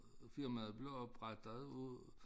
Firmaet blev oprettet af